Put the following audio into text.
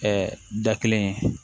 da kelen ye